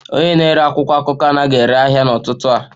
Onye na-ere akwụkwọ akụkọ anaghị ere ahịa n'ụtụtụ a